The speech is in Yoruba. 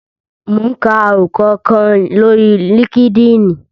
Mò ún ka àròkọ kan lórí líkídíìnì